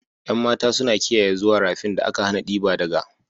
Yan matan suna kiyaye zuwa rafin da aka hana diba daga.